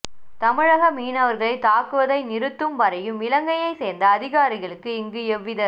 தமிழக மீனவர்களை தாக்குவதை நிறுத்தும் வரையும் இலங்கையை சேர்ந்த அதிகாரிகளுக்கு இங்கு எவ்வித